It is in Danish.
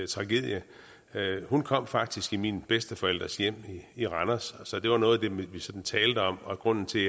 tragedie hun kom faktisk i mine bedsteforældres hjem i randers så det var noget vi vi talte om og grunden til